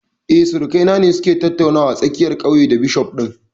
Eh, surukai na ne su ke tattaunawa a tsakiyar ƙauye da bishof ɗin